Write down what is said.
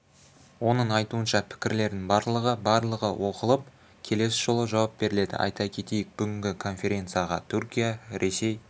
оның айтуынша пікірердің барлығы барлығы оқылып келесі жолы жауап беріледі айта кетейік бүгінгі конференцияға түркия ресей